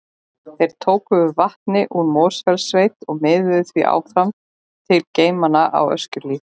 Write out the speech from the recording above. Þeir tóku við vatni úr Mosfellssveit og miðluðu því áfram til geymanna á Öskjuhlíð.